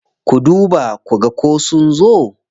Ku duba ku ga ko sun zo.